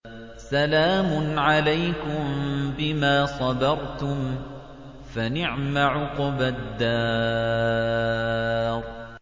سَلَامٌ عَلَيْكُم بِمَا صَبَرْتُمْ ۚ فَنِعْمَ عُقْبَى الدَّارِ